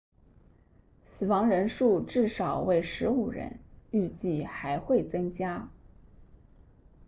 死亡人数至少为15人预计还会增加